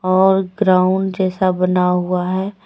और ग्राउंड जैसा बना हुआ है।